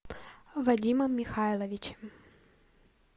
вадимом михайловичем